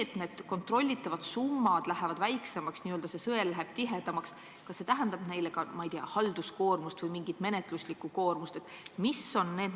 Kas see, et kontrollitavad summad lähevad väiksemaks, n-ö sõel läheb tihedamaks, tähendab pankadele suuremat halduskoormust või mingisugust menetluslikku koormust?